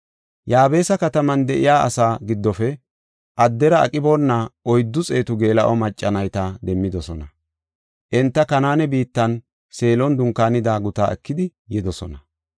Yaabesa kataman de7iya asaa giddofe addera aqiboona oyddu xeetu geela7o macca nayta demmidosona. Enta Kanaane biittan, Seelon dunkaanida gutaa ekidi yidosona.